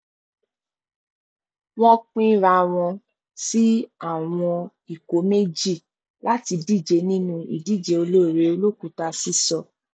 wọn pín ara wọn sí àwọn ikọ méjì láti díje nínú ìdíje ọlọrẹẹ olókùúta sísọ